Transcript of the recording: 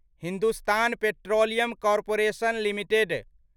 Hindustan petroleum corporation limited